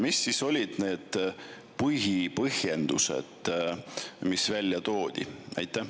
Mis siis olid need põhipõhjendused, mis välja toodi?